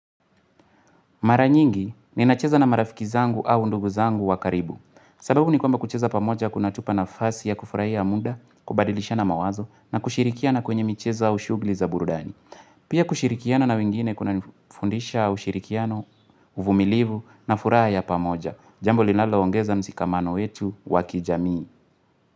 Mara nyingi ninacheza na marafiki zangu au ndugu zangu wa karibu. Sababu ni kwamba kucheza pamoja kunatupa nafasi ya kufurahia muda kubadilishana mawazo na kushirikiana kwenye michezo au shughhli za burudani. Pia kushirikiana na wengine kunanifundisha ushirikiano uvumilivu na furaha ya pamoja. Jambo linaloongeza mshikamano wetu wa kijamii.